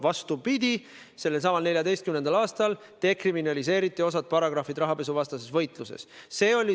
Vastupidi, selsamal 2014. aastal dekriminaliseeriti osa rahapesuvastase võitlusega seotud paragrahve.